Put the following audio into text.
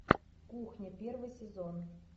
кухня первый сезон